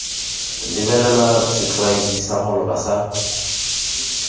lebelelwa setlwaedi sa maloba sa